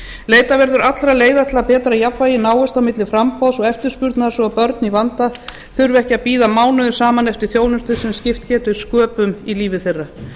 leitað verður allra leiða til að betra jafnvægi náist á milli framboðs og eftirspurnar svo að börn í vanda þurfi ekki að bíða mánuðum saman eftir þjónustu sem skipt getur sköpum í lífi þeirra